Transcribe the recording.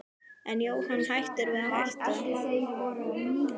En er Jóhann hættur við að hætta?